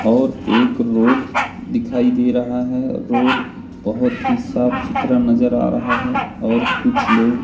और एक रोड दिखाई दे रहा हैं रोड बहोत ही साफ सुथरा नजर आ रहा है और कुछ लोग--